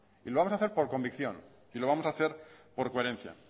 y lo vamos a hacer por convicción y lo vamos a hacer por coherencia